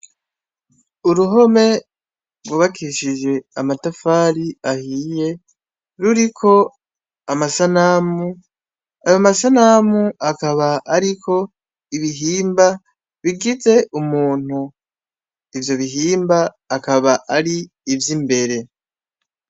Uruhome rwubakishije amatafari ahiye ruriko amasanamu ayo masanamu akaba, ariko ibihimba bigize umuntu ivyo bihimba akaba ari ivyo imbere.